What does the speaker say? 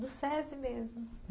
Do Sesi mesmo.